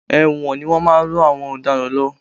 Ẹ̀wọ̀n ni wọ́n máa ń rán àwọn ọ̀daràn lọ.